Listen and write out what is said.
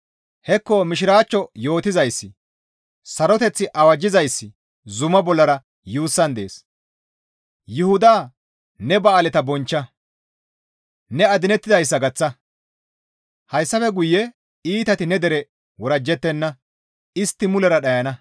Hekko mishiraachcho yootizayssi, saroteth awajjizayssi zumaa bollara yuussan dees. Yuhuda ne ba7aaleta bonchcha; ne adinettidayssa gaththa; hayssafe guye iitati ne dere worajjettenna; istti mulera dhayana.